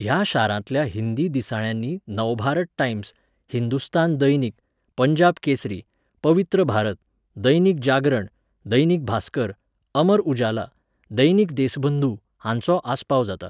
ह्या शारांतल्या हिंदी दिसाळ्यांनी नवभारत टायम्स, हिंदुस्तान दैनिक, पंजाब केसरी, पवित्र भारत, दैनिक जागरण, दैनिक भास्कर, अमर उजाला, दैनिक देसबंधू हांचो आस्पाव जाता.